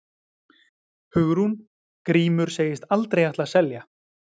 Hugrún: Grímur segist aldrei ætla að selja?